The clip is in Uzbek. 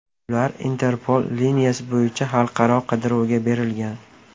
Ular Interpol liniyasi bo‘yicha xalqaro qidiruvga berilgan.